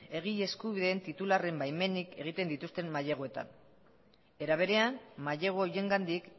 egile eskubideen titularren baimenik egiten dituzten maileguetan era berean mailegu horiengandik